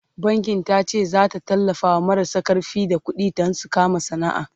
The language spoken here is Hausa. bankin tace zata tallafawa marasa karfi da ƙuɗi Dan su kama sana'a